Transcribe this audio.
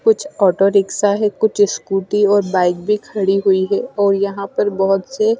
कुछ auto rickshaw है कुछ स्कूटी और बाइक भी खड़ी हुई है और यहाँ पे बोहोत से--